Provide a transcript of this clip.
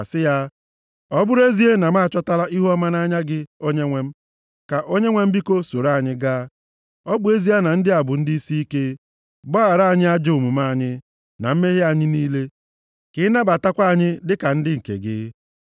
sị ya, “Ọ bụrụ nʼezie na m achọtala ihuọma nʼanya gị, Onyenwe m, ka Onyenwe m, biko soro anyị gaa. Ọ bụ ezie na ndị a bụ ndị isiike, gbaghara anyị ajọ omume anyị, na mmehie anyị niile, ka ị nabatakwa anyị dịka ndị nke gị.”